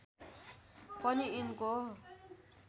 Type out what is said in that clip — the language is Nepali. पनि यिनको